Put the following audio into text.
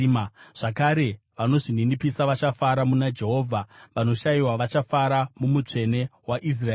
Zvakare vanozvininipisa vachafara muna Jehovha; vanoshayiwa vachafara muMutsvene waIsraeri.